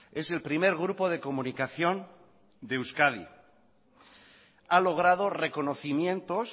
es el primer grupo de comunicación de euskadi ha logrado reconocimientos